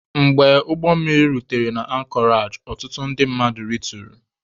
Mgbe ụgbọmmiri rutere na ankọreji, ọtụtụ ndị mmadụ rituru.